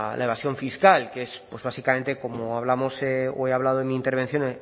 evasión fiscal que es pues básicamente como hablamos o he hablado en mi intervención